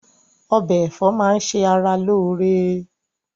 Ọbẹ̀ ẹ̀fọ́ máà ń ṣe ara lóore